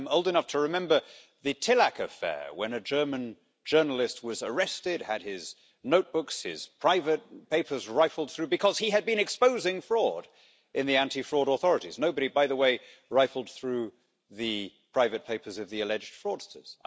I'm old enough to remember the Tillack affair, when a German journalist was arrested, had his notebooks, his private papers rifled through, because he had been exposing fraud in the anti fraud authorities. Nobody, by the way, rifled through the private papers of the alleged fraudsters.